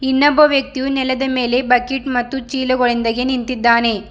ಇನ್ನೊಬ್ಬ ವ್ಯಕ್ತಿಯು ನೆಲದ ಮೇಲೆ ಬಕೀಟ್ ಮತ್ತು ಚಿಲುಗಳೊಂದಿಗೆ ನಿಂತಿದ್ದಾನೆ.